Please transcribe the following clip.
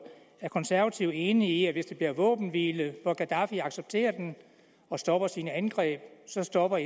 konservative enige i at hvis der bliver våbenhvile og gaddafi accepterer den og stopper sine angreb så stopper